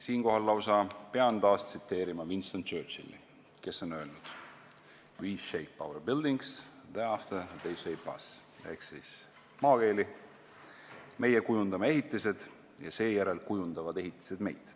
Siinkohal lausa pean taas tsiteerima Winston Churchilli, kes on öelnud: we shape our buildings; thereafter they shape us, ehk maakeeli: meie kujundame ehitised ja seejärel kujundavad ehitised meid.